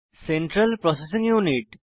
central processing unit